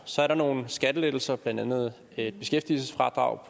så er der nogle skattelettelser blandt andet et beskæftigelsesfradrag